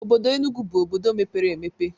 Obodo Enugwu bụ obodo mepere emepe.